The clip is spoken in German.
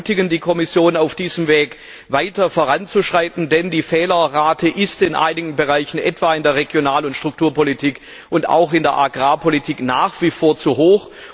Wir ermutigen die Kommission, auf diesem Weg weiter voranzuschreiten, denn die Fehlerrate ist in einigen Bereichen etwa in der Regional und Strukturpolitik und auch in der Agrarpolitik nach wie vor zu hoch.